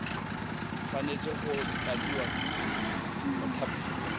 tshwanetse go tladiwa ke mothapiwa